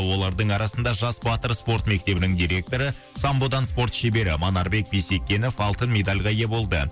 олардың арасында жас батыр спорт мектебінің директоры самбодан спорт шебері манарбек бисекенов алтын медальға ие болды